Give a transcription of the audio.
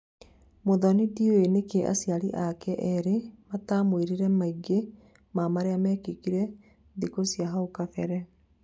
Muthoni ndũĩ nĩkĩĩ acĩari ake erĩ matamwĩrire maingĩ ma marĩa mekĩkire thikũ cĩa haũ kabere